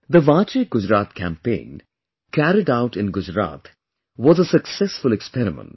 The Vaanche Gujarat campaign carried out in Gujarat was a successful experiment